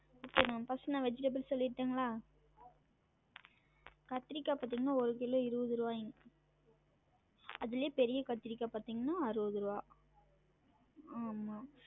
Okay mam first உ நா vegetables சொல்லிட்டுருங்களா? கத்திரிக்கா பாத்திங்கனா ஒரு கிலோ இருவது ருவாயுங்க அதுலே பெரிய கத்திரிக்கா பாத்திங்கன்னா அறுவது ருவா ஆமா